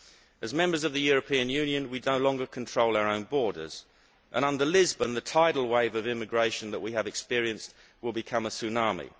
As a Member State of the European Union, we no longer control our own borders and under Lisbon, the tidal wave of immigration that we have experienced will become a tsunami.